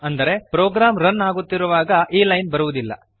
ಅಂದರೆ program run ಆಗುತ್ತಿರುವಾಗ ಈ ಲೈನ್ ಬರುವುದಿಲ್ಲ